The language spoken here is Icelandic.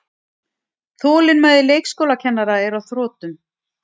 Þetta hefur fækkað beinbrotum í börnum markvert en árangur í fullorðnum er ekki eins afgerandi.